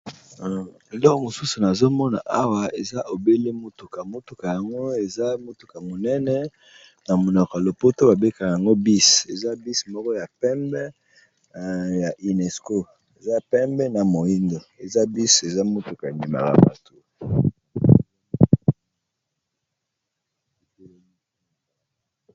Eloko mosusu, eza obele mutuka yango ezali bongo ya munene, mutuka oyo na monoko ya lopoto babengi bus